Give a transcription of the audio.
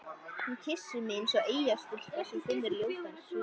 Hún kyssir mig eins og eyjastúlka sem finnur ljótan skip